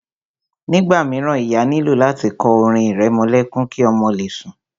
Nígbà míràn, ìyá nílò láti kọ orin ìrẹmọlẹ́kún ki ọmọ le sùn.